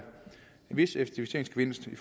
vis effektiviseringsgevinst